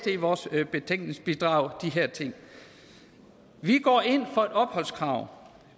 i vores betænkningsbidrag vi går ind for et opholdskrav